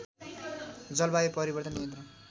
जलवायु परिवर्तन नियन्त्रण